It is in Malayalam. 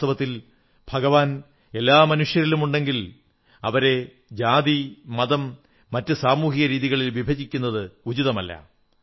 വാസ്തവത്തിൽ ഭഗവാൻ എല്ലാ മനുഷ്യരിലുമുണ്ടെങ്കിൽ അവരെ ജാതി മതം മറ്റ് സാമൂഹികരീതികളിൽ വിഭജിക്കുന്നത് ഉചിതമല്ല